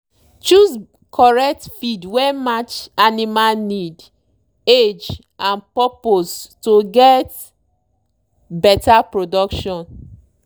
choose correct feed wey match animal need age and purpose to get better production.